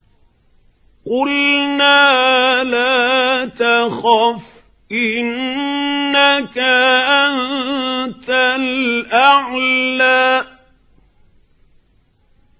قُلْنَا لَا تَخَفْ إِنَّكَ أَنتَ الْأَعْلَىٰ